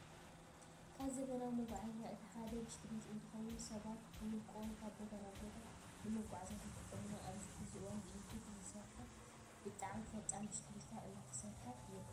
ካብ ዘበናዊ መጓዓዓዚያታት እቲ ሓደ ብሽክሌት እንትኸውን ሰባት ብውልቀኦም ካብ ቦታ ናብ ቦታ ንመጓዓዓዝያነት ይጥቀመሎም። ኣብዚ ሕዚ እዋን ብኤሌክትሪክ ዝሰርሓ ብጣዕሚ ፈጣናት ብሽክሌታ እናተሰርሓ ይርከባ።